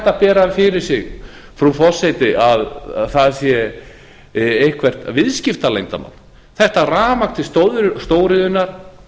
að bera fyrir sig frú forseti að það sé eitthvert viðskiptaleyndarmál þetta rafmagn til stóriðjunnar